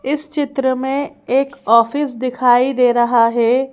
इस चित्र में एक ऑफिस दिखाई दे रहा है।